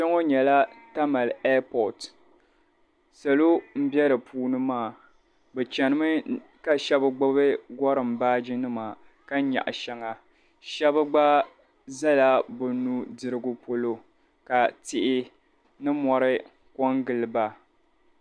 Kpɛŋɔ nyɛla tamale ɛpɔti. Salo m-be di puuni maa bɛ chanimi ka shɛba gbibi gɔrim baajinima ka nyaɣi shɛŋa shɛba gba zala bɛ nudirigu polo ka tihi ni mɔri kɔŋgili ba.